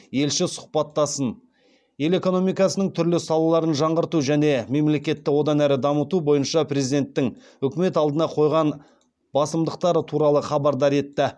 елші сұхбаттасын ел экономикасының түрлі салаларын жаңғырту және мемлекетті одан әрі дамыту бойынша президенттің үкімет алдына қойған басымдықтары туралы хабардар етті